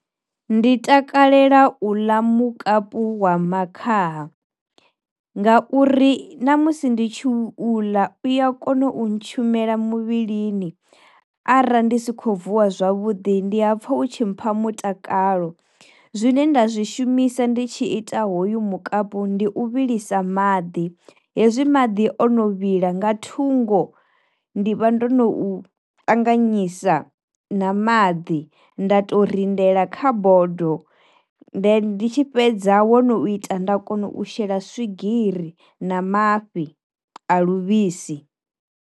Ndi takalela u ḽa mukapu hu wa makhaha nga uri na musi ndi tshi u ḽa uya kona u ntshumela muvhilini arali ndi si khou vuwa zwavhuḓi ndi ha pfha u tshi mpha mutakalo, zwine nda zwi shumisa ndi tshi ita hoyu mukapu ndi u vhilisa maḓi hezwi madi o no vhila nga thungo ndi vha ndo no ṱanganyisa na maḓi nda to rindela kha bodo, ndi tshi fhedza wo no ita nda kona u shela swigiri na mafhi a luvhisi.